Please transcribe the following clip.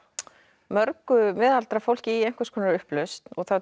mörgu miðaldra fólki í einhvers konar upplausn